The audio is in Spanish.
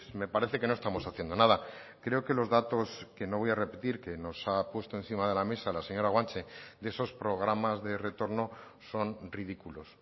me parece que no estamos haciendo nada creo que los datos que no voy a repetir que nos ha puesto encima de la mesa la señora guanche de esos programas de retorno son ridículos